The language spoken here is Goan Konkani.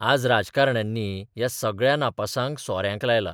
आज राजकारण्यांनी ह्या सगळ्या नापासांक सोन्याक लायला.